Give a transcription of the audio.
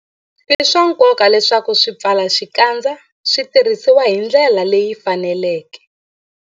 I swa nkoka leswaku swipfalaxikandza swi tirhisiwa hi ndlela leyi faneleke.